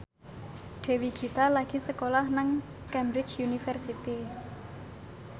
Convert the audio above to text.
Dewi Gita lagi sekolah nang Cambridge University